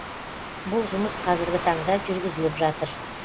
бұл жұмыс қазіргі таңда жүргізіліп жатыр